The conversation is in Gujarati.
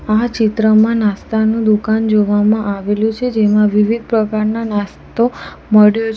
આ ચિત્રમાં નાસ્તાનું દુકાન જોવામાં આવેલું છે જેમાં વિવિધ પ્રકારના નાસ્તો મળ્યો છે.